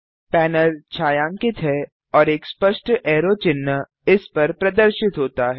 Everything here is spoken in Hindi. पैनल छायांकित है और एक स्पष्ट ऐरो चिन्ह इस पर प्रदर्शित होता है